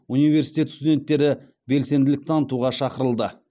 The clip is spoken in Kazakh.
университет студенттері белсенділік танытуға шақырылды